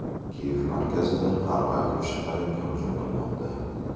Kiyev markazida qarg‘a ko‘rshapalakka hujum qilmoqda.